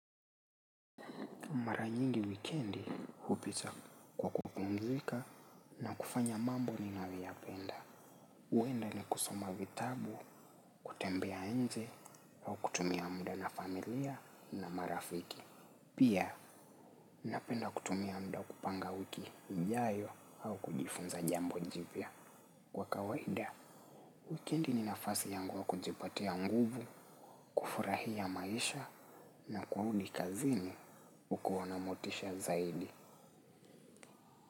Mara nyingi wikendi hupita kwa kupumzika na kufanya mambo ninayoyapenda. Uenda ni kusoma vitabu, kutembea enje au kutumia muda na familia na marafiki. Pia, napenda kutumia muda kupanga wiki hijayo au kujifunza jambo jipya. Kwa kawaida, wikendi ni nafasi yangu wa kujipatia nguvu, kufurahia maisha na kurudi kazini ukuana motisha zaidi.